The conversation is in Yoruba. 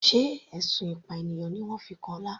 Sé ẹ̀sùn ìpànìyàn ni wọ́n fi kan Ọlá.